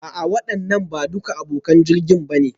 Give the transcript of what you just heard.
A'a waɗannan ba duka abokan jirgin ba ne